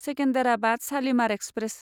Secunderabad Shalimar express